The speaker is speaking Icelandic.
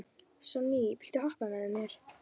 Sonný, viltu hoppa með mér?